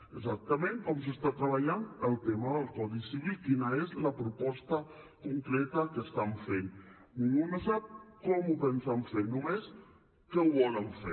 exactament com s’està treballant el tema del codi civil quina és la proposta concreta que estan fent ningú no sap com ho pensen fer només que ho volen fer